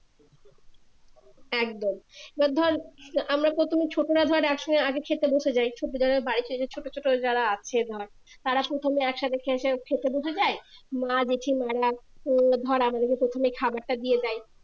একদম এবার ধর আমরা প্রথমে ছোটরা ধর একসঙ্গে আগে খেতে বসে যাই ছোট বাড়িতে যে ছোট ছোট যারা আছে ধর তার প্রথমে একসাথে খেতে বসে যায় মা জেঠিমারা তো ধর আমাদেরকে প্রথমে খাবার টা দিয়ে যায়